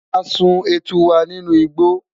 a sùn etu wa ninú igbo